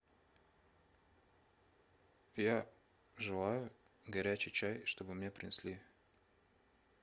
я желаю горячий чай чтобы мне принесли